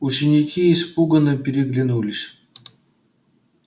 ученики испуганно переглянулись